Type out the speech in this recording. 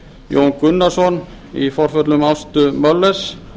jón gunnarsson í forföllum ástu möllers